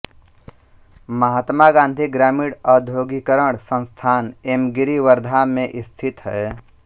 महात्मा गांधी ग्रामीण औद्योगीकरण संस्थान एमगिरि वर्धा में स्थित है